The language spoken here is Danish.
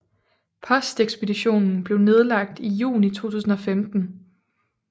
Postekspeditionen blev nedlagt i juni 2015